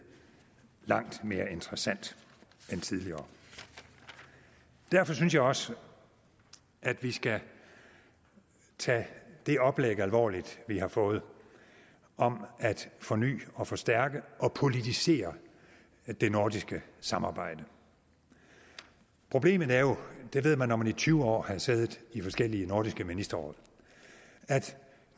langt mere interessant end tidligere derfor synes jeg også at vi skal tage det oplæg alvorligt vi har fået om at forny og forstærke og politisere det nordiske samarbejde problemet er jo og det ved man når man i tyve år har siddet i forskellige nordisk ministerråd at